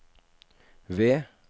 V